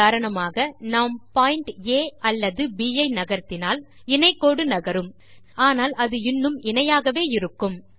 உதாரணமாக நாம் பாயிண்ட்ஸ் ஆ அல்லது ப் யை நகர்த்தினால் இணை கோடு நகரும் ஆனால் அது இன்னும் இணையாகவே இருக்கும்